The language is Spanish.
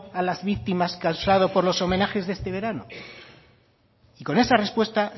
a las víctimas causado por los homenajes de este verano y con esa respuesta